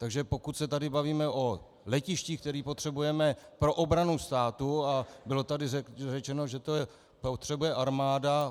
Takže pokud se tady bavíme o letištích, která potřebujeme pro obranu státu - a bylo tady řečeno, že to potřebuje armáda.